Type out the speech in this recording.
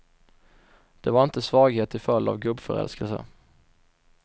Det var inte svaghet till följd av gubbförälskelse.